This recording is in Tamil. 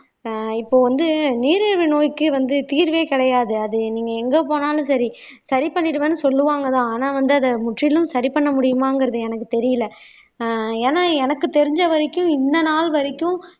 ஆஹ் இப்போ வந்து நீரிழிவு நோய்க்கு வந்து தீர்வே கிடையாது அது நீங்க எங்க போனாலும் சரி சரி பண்ணிடுவேன்னு சொல்லுவாங்கதான் ஆனா வந்து அத முற்றிலும் சரி பண்ண முடியுமாங்கிறது எனக்கு தெரியலே ஆஹ் ஏன்னா எனக்கு தெரிஞ்ச வரைக்கும் இந்த நாள் வரைக்கும்